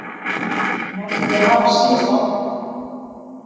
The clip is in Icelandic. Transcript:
Menn vilja hafa síðasta orðið